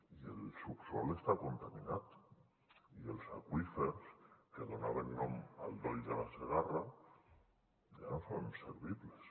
i el subsol està contaminat i els aqüífers que donaven nom al doll de la segarra ja no són servibles